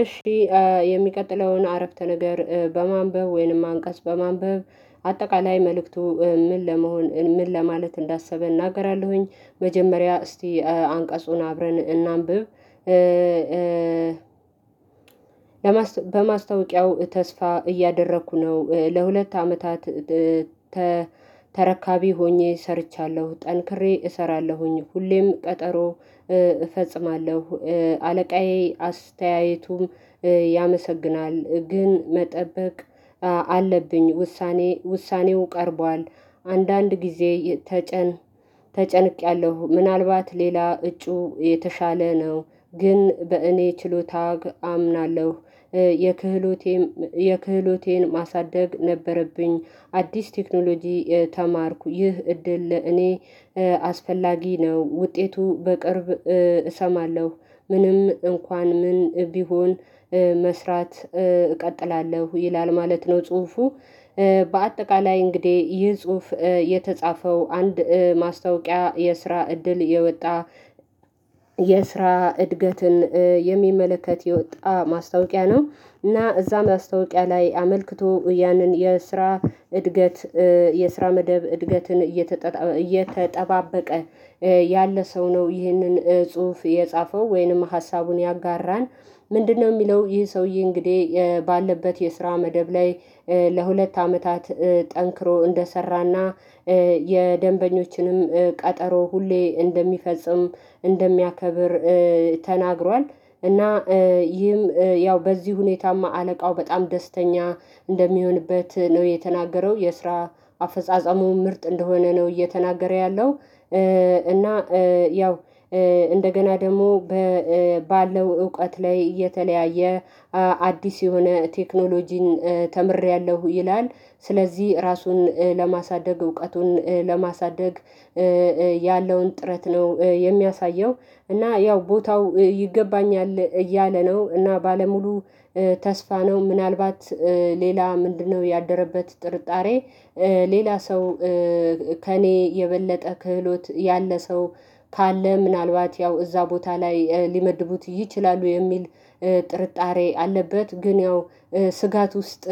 እሺ የሚቀጥለውን አረፍተ ነገር በማንበብ ወይንም አንቀጽ በማንበብ አጠቃላይ መልእክቱ ምን ለመሆን ምን ለማለት እንዳሰበ እናገራለሁኝ መጀመሪያ እስቲ አንቀጹን አብረን እናንብብ በማስታወቂያው ተስፋ እያደረኩ ነው ለሁለት አመታት ተረካቢ ሆኜ ሰርቻለሁ ጠንክሬ እሰራለሁኝ ሁሌም ቀጠሮ እፈጽማለሁ፤ አለቃዬ አስተያየቱም ያመሰግናል፤ ግን መጠበቅ አለብኝ ውሳኔው ቀርቧል አንዳንድ ጊዜ ተጨንቄያለሁ ምናልባት ሌላ እጩ የተሻለ ነው። ግን በእኔ ችሎታ አምናለሁ። የክህሎቴን የክህሎቴን ማሳደግ ነበረብኝ። አዲስ ቴክኖሎጂ ተማርኩ ይህ እድል እኔ አስፈላጊ ነው። ውጤቱ በቅርብ እሰማለሁ ምንም እንኳን ምን ቢሆን መስራት እቀጥላለሁ ይላል ማለት ነው ጽሁፉ። በአጠቃላይ እንግዲህ ይህ ጽሁፍ የተጻፈው አንድ ማስታወቂያ የስራ እድል የወጣ የስራ እድገትን የሚመለከት የወጣ ማስታወቂያ ነው። እና እዛ ማስታወቂያ ላይ አመልክቶ ያንን የስራ እድገት፤ የስራ መደብ እድገትን እየተጠባበቀ ያለ ሰው ነው ይህንን ጽሁፍ የጻፈው። ወይንም ሀሳቡን ያጋራ፤ ምንድነው የሚለው ይህ ሰውዬ እንግዲህ ባለበት የስራ መደብ ላይ ለሁለት አመታት ጠንክሮ እንደሰራና የደንበኞችንም ቀጠሮ ሁሌ እንደሚፈጽም እንደሚያከብር ተናግሯል። እና ይህም ያው በዚህ ሁኔታማ አለቃው በጣም ደስተኛ እንደሚሆንበት ነው የተናገረው። የስራ አፈጻጸሙ ምርጥ እንደሆነ ነው እየተናገረ ያለው። እና ያው እንደገና ደግሞ ባለው እውቀት ላይ የተለያየ አዲስ የሆነ ቴክኖሎጂን ተምሬያለሁ ይላል ስለዚህ ራሱን ለማሳደግ፤ እውቀቱን ለማሳደግ፤ ያለውን ጥረት ነው የሚያሳየው። እና ያው ቦታው ይገባኛል እያለ ነ፤ እና ባለሙሉ ተስፋ ነው ምናልባት ሌላ ምንድነው ያደረበት ጥርጣሬ ሌላ ሰው ከእኔ የበለጠ ክህሎት ያለ ሰው ካለ ምናልባት ያው እዛ ቦታ ላይ ሊመድቡት ይችላሉ የሚል ጥርጣሬ አለበት ግን ያው ስጋት ውስጥ